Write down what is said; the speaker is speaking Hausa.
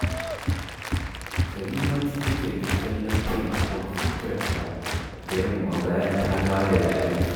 Karimatu takan yi kallon fim a kwamfutarta da yamma bayan ta dawo daga aiki